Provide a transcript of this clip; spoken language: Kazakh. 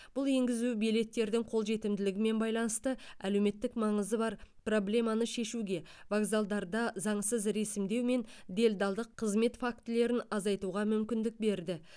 бұл енгізу билеттердің қолжетімділігімен байланысты әлеуметтік маңызы бар проблеманы шешуге вокзалдарда заңсыз ресімдеу мен делдалдық қызмет фактілерін азайтуға мүмкіндік берді